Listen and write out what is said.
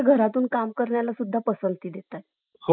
अं य या yes mam तुम्ही मला timing अह सांगू सांगू शकता का अजून किती वेळ लागेल?